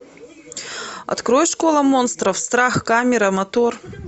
открой школа монстров страх камера мотор